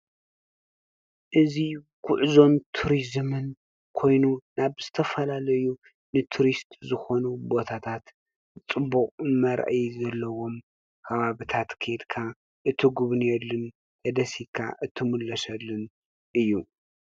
እዚ ጉዕዞን ቱሪዝምን ኮይኑ ናብ ዝተፈላለዩ ንቱሪስት ዝኾኑ ቦታታት ፅቡቅ መርአዪ ዘለዎም ከባብታት ኬድካ እትጉብንየሉን ተደሲትካ እትምለሰሉን እዩ።